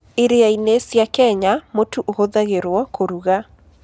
Iria-inĩ cia Kenya, mũtu ũhũthagĩrũo kũruga.